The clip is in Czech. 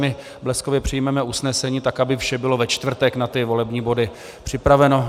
My bleskově přijmeme usnesení, tak aby vše bylo ve čtvrtek na ty volební body připraveno.